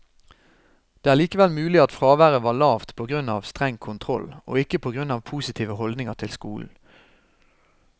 Det er likevel mulig at fraværet var lavt på grunn av streng kontroll, og ikke på grunn av positive holdninger til skolen.